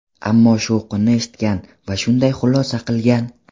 Ammo shovqinni eshitgan va shunday xulosa qilgan.